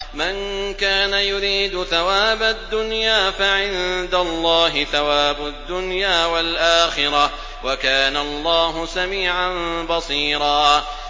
مَّن كَانَ يُرِيدُ ثَوَابَ الدُّنْيَا فَعِندَ اللَّهِ ثَوَابُ الدُّنْيَا وَالْآخِرَةِ ۚ وَكَانَ اللَّهُ سَمِيعًا بَصِيرًا